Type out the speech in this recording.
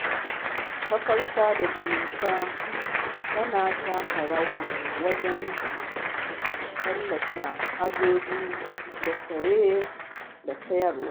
Kafar sada zumunta tana taka rawa wajen tallata hajoji da saye da sayarwa.